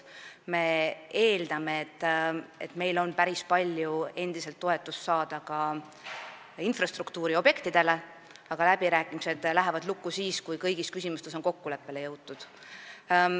Me eeldame, et me saame endiselt päris palju toetust ka infrastruktuuriobjektide jaoks, aga läbirääkimised lähevad lukku siis, kui kõigis küsimustes on kokkuleppele jõutud.